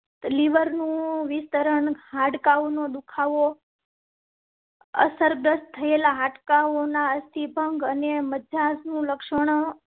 લિવરનું વિસ્તરણ હાડકાંનો દુખાવો. અસરગ્રસ્ત થયેલા હાડકા હોના સ્ટી ભંગને મજા નું લક્ષણ